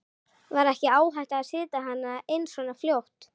Var ekki áhætta að setja hana inn svo fljótt?